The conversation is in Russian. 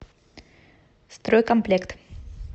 стройкомплект